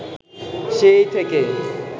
সেই থেকেই